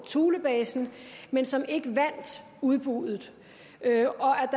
thulebasen men som ikke vandt udbuddet